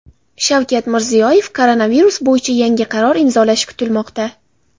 Shavkat Mirziyoyev koronavirus bo‘yicha yangi qaror imzolashi kutilmoqda.